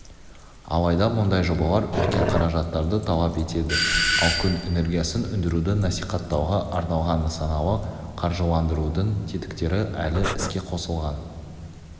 алайда мұндай жобалар үлкен қаражаттарды талап етеді ал күн энергиясын өндіруді насихаттауға арналған нысаналы қаржыландырудың тетіктері әлі іске қосылған